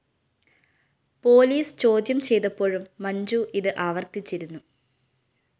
police ചോദ്യം ചെയ്തപ്പോഴും മഞ്ജു ഇത് ആവര്‍ത്തിച്ചിരുന്നു